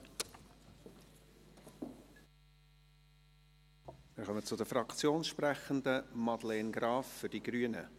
Wir kommen zu den Fraktionssprechenden, Madeleine Graf-Rudolf für die Grünen.